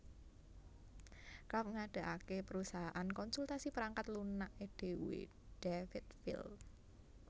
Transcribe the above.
Karp ngadegake perusahaan konsultasi perangkat lunake dhewe Davidville